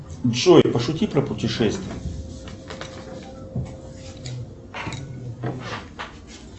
джой пошути про путешествия